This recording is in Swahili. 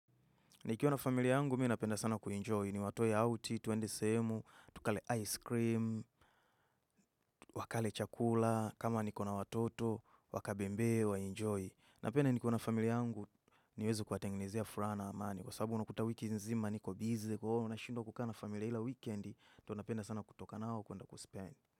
Nikiwa na familia angu mi napenda sana kuinjoy niwatoe outi tuende sehemu tukale ice cream wakale chakula kama niko na watoto wakabembe wainjoy napenda nikiona familia angu niweze kuwatengenezea furaha na amani kwa sababu unakuta wiki nzima niko busy kwaio nashindwa kukaa na familia ila weekend ndonapenda sana kutoka nao kwenda kuspend.